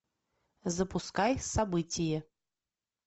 запускай событие